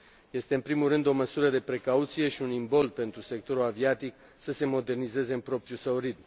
Este, în primul rând, o măsură de precauție și un imbold pentru sectorul aviatic să se modernizeze în propriul său ritm.